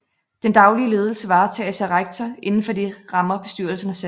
Den daglige ledelse varetages af rektor inden for de rammer bestyrelsen har sat